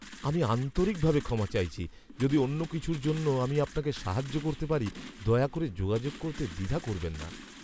আমি আন্তরিকভাবে ক্ষমা চাইছি! যদি অন্য কিছুর জন্য আমি আপনাকে সাহায্য করতে পারি, দয়া করে যোগাযোগ করতে দ্বিধা করবেন না।